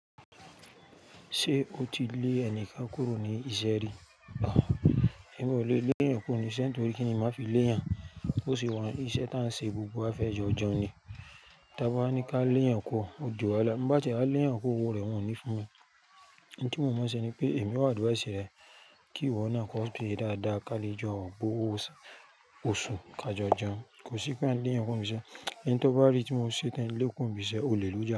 Ṣé o ti lé ẹni kán kúrò ní ìṣe ri a èmi ò lè le ẹyan kuro nisẹ́ ntori kíni, má fi lé yàn, bó ṣe wa ise tá ń ṣe gbogbo á fẹ́ jọ̀jọ̀n ni. Tábá ní ká léyàn ku o ó di wáhala bi Bá ti e a léyàn kọ owó rẹ̀ wọn ò ní fún Ohun tí mo mọ̀ ṣe ni pé èmi advjse ẹsẹ̀ rẹ, kí ìwọ náà kó fi dáadáa ká lè jẹun kún owó ọ̀sán, oṣù ká jọ̀jọ̀n. Kò sí pé a ní lé ẹni kúro ni ibi ise Ẹni tó bá rí tí mo ṣe tán, e kúro ń bisẹ́, olè ló jẹ á.